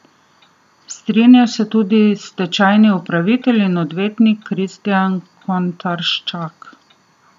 Strinja se tudi stečajni upravitelj in odvetnik Kristijan Kontarščak.